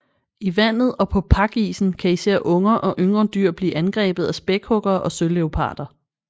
I vandet og på pakisen kan især unger og yngre dyr blive angrebet af spækhuggere og søleoparder